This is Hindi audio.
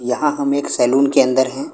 यहां हम एक सैलून के अंदर है।